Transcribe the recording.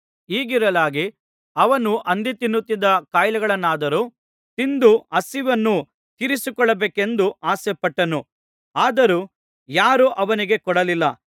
ಹೀಗಿರಲಾಗಿ ಅವನು ಹಂದಿ ತಿನ್ನುತ್ತಿದ್ದ ಕಾಯಿಗಳನ್ನಾದರೂ ತಿಂದು ಹಸಿವನ್ನು ತೀರಿಸಿಕೊಳ್ಳಬೇಕೆಂದು ಆಸೆಪಟ್ಟನು ಆದರೂ ಯಾರೂ ಅವನಿಗೆ ಕೊಡಲಿಲ್ಲ